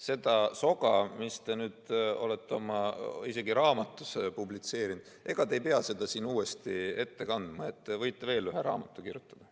Seda soga, mida te olete isegi oma raamatus publitseerinud, ei pea te siin uuesti ette kandma, te võite veel ühe raamatu kirjutada.